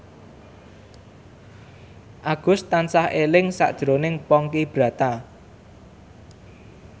Agus tansah eling sakjroning Ponky Brata